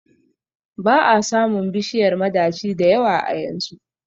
ba a samun bishiyar madaci da yawa a yanzu